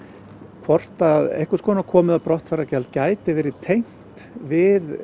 hvort að einhvers konar komu eða brottfarargjald gæti verið tengt við